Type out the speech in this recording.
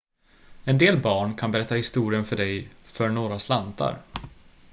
en del barn kan berätta historien för dig för några slantar